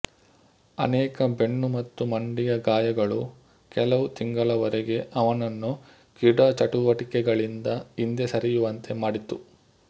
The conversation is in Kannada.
ಅನೇಕ ಬೆನ್ನು ಮತ್ತು ಮಂಡಿಯ ಗಾಯಗಳು ಕೆಲವು ತಿಂಗಳವರೆಗೆ ಅವನನ್ನು ಕ್ರೀಡಾಚಟುವಟಿಕೆಗಳಿಂದ ಹಿಂದೆ ಸರಿಯುವಂತೆ ಮಾಡಿತು